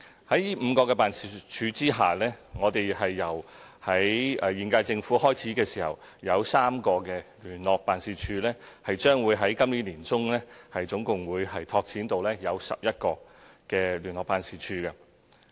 在這5個辦事處之下，我們在現屆政府開始時設有3個聯絡辦事處，將會在今年年中拓展至總共11個聯絡辦事處。